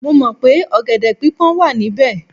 Mo mọ̀ pé ọ̀gẹ̀dẹ̀ pípọ́n wà níbẹ̀